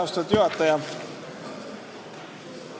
Austatud juhataja!